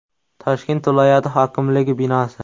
Toshkent viloyati hokimligi binosi.